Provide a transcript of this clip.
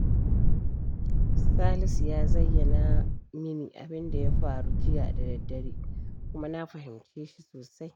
Salisu ya zayyana mini abin da ya faru jiya da daddare, kuma na fahimce shi sosai